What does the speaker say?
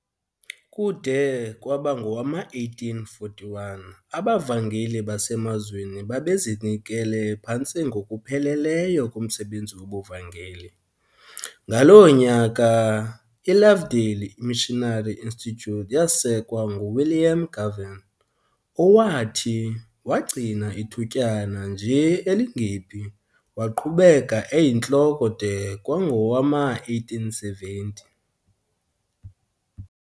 Kude kwaba ngowama1841 abavangeli basemazweni babezinikele phantse ngokupheleleyo kumsebenzi wobuvangeli, ngaloo nyaka iLovedale Missionary Institute yasekwa nguWilliam Govan, owathi, wagcina ithutyana nje elingephi, waqhubeka eyintloko de kwangowama1870.